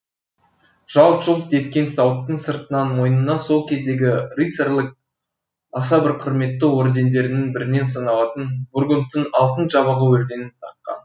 жалт жұлт еткен сауыттың сыртынан мойнына сол кездегі рыцарьлық аса бір құрметті ордендердің бірінен саналатын бургундтың алтын жабағы орденін таққан